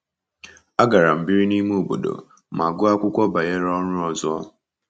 Agara m biri n’ime obodo ma gụọ akwụkwọ banyere ọrụ ọzọ.